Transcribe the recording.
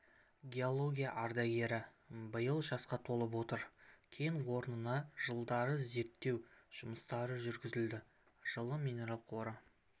геология ардагері биыл жасқа толып отыр кен орнына жылдары зерттеу жұмыстары жүргізілді жылы минерал қоры